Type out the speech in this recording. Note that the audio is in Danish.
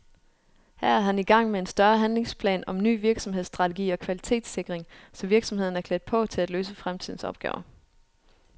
Her er han i gang med en større handlingsplan om ny virksomhedsstrategi og kvalitetssikring, så virksomheden er klædt på til at løse fremtidens opgaver.